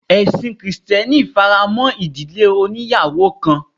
Ẹ̀sin krìstẹ́nì fi ara mọ́ ìdílé oníyàwò kan.